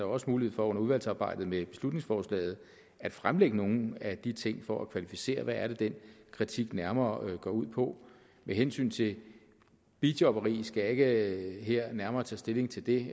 også mulighed for under udvalgsarbejdet med beslutningsforslaget at fremlægge nogle af de ting for at kvalificere hvad det er den kritik nærmere går ud på med hensyn til bijobberi skal jeg ikke her nærmere tage stilling til det